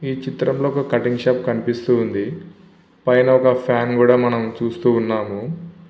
ఈ చిత్రంలో ఒక కటింగ్ షాప్ కనిపిస్తూ ఉంది. పైన ఒక ఫాన్ కూడా మనం చూస్తూ ఉన్నాము.